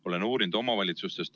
Olen uurinud omavalitsustest.